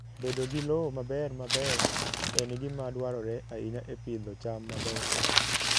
Bedo gi lowo maber maber en gima dwarore ahinya e pidho cham mabeyo.